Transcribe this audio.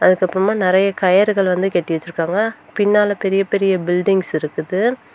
அதுக்கு அப்புறமா நெறைய கயிறுகள் வந்து கட்டி வெச்சிருக்காங்க பின்னால பெரிய பெரிய பில்டிங்ஸ் இருக்குது.